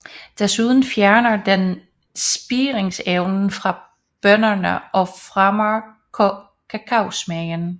Desuden fjerner den spiringsevnen fra bønnerne og fremmer kakaosmagen